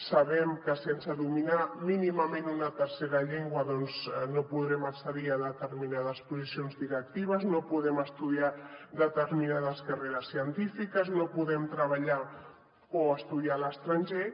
sabem que sense dominar mínimament una tercera llengua no podrem accedir a determinades posicions directives no podem estudiar determinades carreres científiques no podem treballar o estudiar a l’estranger